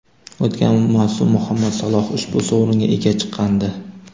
O‘tgan mavsum Muhammad Saloh ushbu sovringa ega chiqqandi.